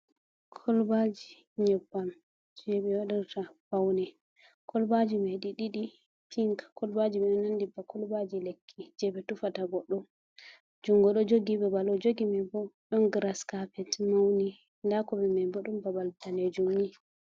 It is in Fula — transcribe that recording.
Kolbaji nyabbam jebe wadirta faune kulbaji mai di didi pink kolbaji mai do nandi ba kolbaji lekki je be tufata goddo jungo do jogi babal o jogi mai bo don grass carpet mauni, da kombi mai bo don babal danejum.